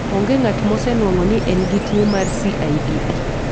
Onge ng'at mosenwang'o ni en gi tuwo mar CIDP.